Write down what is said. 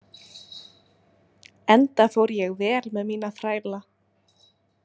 Enda fór ég vel með mína þræla.